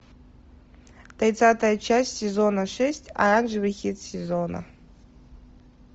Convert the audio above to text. тридцатая часть сезона шесть оранжевый хит сезона